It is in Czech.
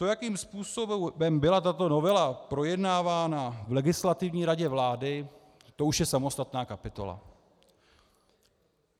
To, jakým způsobem byla tato novela projednávána v Legislativní radě vlády, to už je samostatná kapitola.